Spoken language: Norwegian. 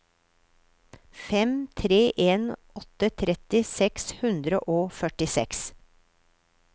fem tre en åtte tretti seks hundre og førtiseks